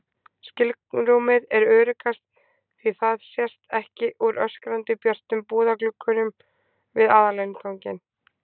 skilrúmið er öruggast því það sést ekki úr öskrandi björtum búðarglugganum við aðalinnganginn.